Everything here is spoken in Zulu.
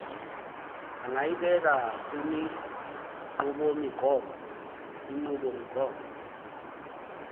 angayibeka kwinqubomigomo inqubomigomo